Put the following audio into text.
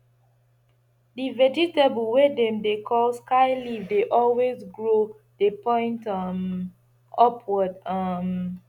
di vegetable wey dem dey call sky leaf dey always grow dey point um upward um